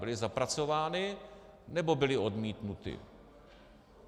Byly zapracovány, nebo byly odmítnuty?